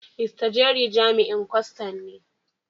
Mr.Jerry jami'in kwastan ne.